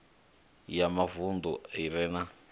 ya mavunḓu i re na